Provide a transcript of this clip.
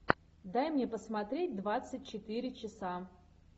дай мне посмотреть двадцать четыре часа